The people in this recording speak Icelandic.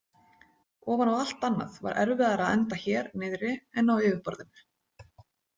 Ofan á allt annað var erfiðara að anda hér niðri en á yfirborðinu.